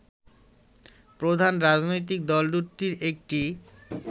প্রধান রাজনৈতিক দল দুটির একটি